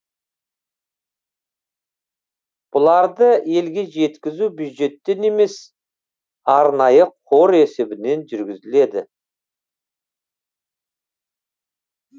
бұларды елге жеткізу бюджеттен емес арнайы қор есебінен жүргізіледі